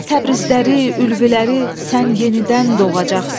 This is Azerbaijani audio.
Təbrizləri, Ülvüləri sən yenidən doğacaqsan.